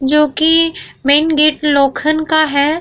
जो की main gate लोखन का है।